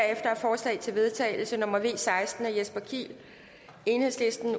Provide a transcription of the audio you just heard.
er forslag til vedtagelse nummer v seksten af jesper kiel